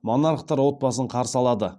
монархтар отбасын қарсы алады